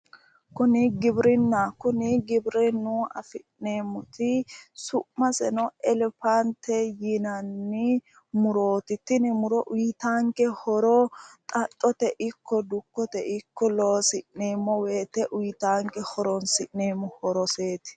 Kuni giwirinnaho. Kuni giwirinnu assi'neemmoti su'maseno elepaante yinanni murooti. Tini muro uyitaanke muro xaxxote ikko dukkote ikko loosi'neemmo woyite uyitaanke horoonsi'neemmo horoseeti.